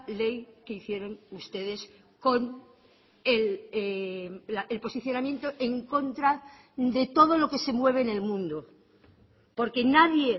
ley que hicieron ustedes con el posicionamiento en contra de todo lo que se mueve en el mundo porque nadie